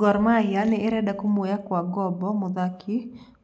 Gor Mahia nĩ ĩrenda kũmuoya kwa gombo mũthaki